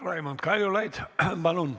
Raimond Kaljulaid, palun!